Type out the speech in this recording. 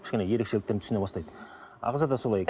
кішкене ерекшеліктерін түсіне бастайды ағза да солай